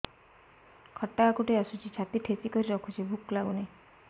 ଖଟା ହାକୁଟି ଆସୁଛି ଛାତି ଠେସିକରି ରଖୁଛି ଭୁକ ଲାଗୁନି